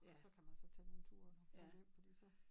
Så kan man så tage nogen ture og løbe på det så